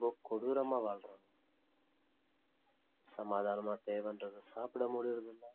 ப~ கொடூரமா வாழ்றாங்க சமாதாணமா தேவைன்றத சாப்பிடமுடியுறதில்ல